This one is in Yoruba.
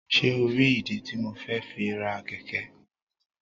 Ṣe o ri ìdí tí mo fẹ fi ra. kẹkẹ?